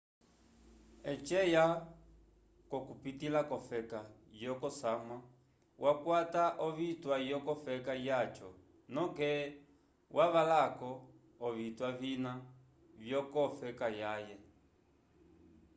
eci eya kokupitila kofeka yokosamwa wakwata ovitwa yoko feka yaco noke wavalako ovitwa vina vyokofe kayaye